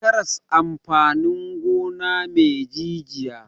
Karas amfanin gona ne me jijiya.